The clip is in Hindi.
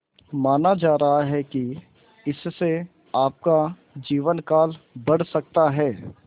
माना जा रहा है कि इससे आपका जीवनकाल बढ़ सकता है